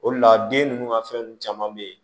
O de la den ninnu ka fɛn nunnu caman be ye